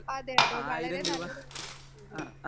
speaker 1 അതെയതെ വളരെ നല്ലൊരു